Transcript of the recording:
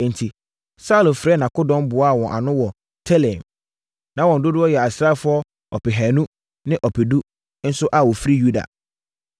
Enti, Saulo frɛɛ nʼakodɔm boaa wɔn ano wɔ Telaim. Na wɔn dodoɔ yɛ asraafoɔ ɔpehanu ne ɔpedu nso a wɔfiri Yuda.